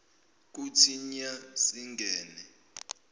kuthi nya singene